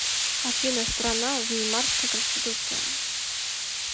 афина страна веймарская конституция